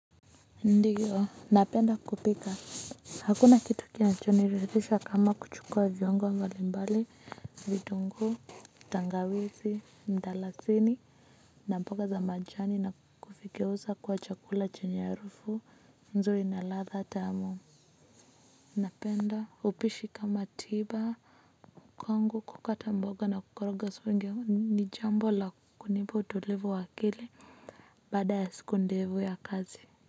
Ndiyo napenda kupika, hakuna kitu kinachoniridhisha kama kuchukua viungo mbalimbali, vitunguu, tangawizi mdalasini na mboga za majani na kuvigeuza kuwa chakula chenye harufu nzuri na ladha tamu napenda upishi kama tiba kwangu kukata mboga na kukoroga sufuria, ni jambo la kunipa utulivu wa akili baada ya siku ndefu ya kazi.